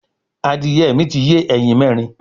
Adìẹ mi ti yé ẹyin mẹrin